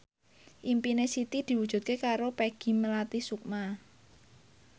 impine Siti diwujudke karo Peggy Melati Sukma